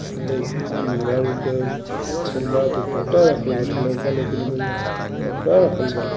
लइका अ मेहरारू के सलवार दुपट्टा रक्खल बाटे। लइका लईकिन के कपड़ा रक्खल बाटे।